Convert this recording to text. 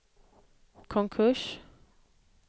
konkurs